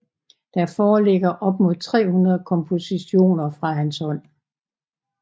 Der foreligger op mod 300 kompositioner fra hans hånd